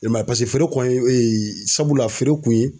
I m'a ye paseke feere ye sabula feerekun ye